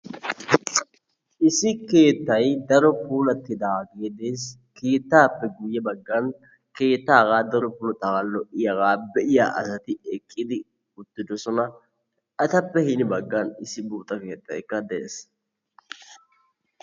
Issi keettay daro puulattidaageee dees. Keettaappe guyye baggan keettaa hagaa daroppe puulattidaagaa, lo'iyagaa be'iya asati eqqidi uttidosona. Etappe hini baggaara issi buuxa keettaykka d'ees.